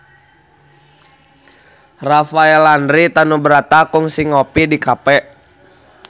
Rafael Landry Tanubrata kungsi ngopi di cafe